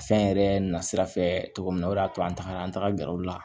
Fɛn yɛrɛ na sira fɛ cogo min na o de y'a to an tagara an taga gɛrɛ u la